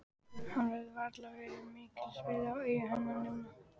Hann getur varla verið mikils virði í augum hennar núna.